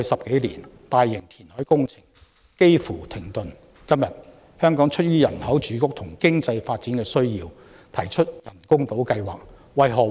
今天，香港特區政府出於人口住屋和經濟發展需要而提出人工島計劃。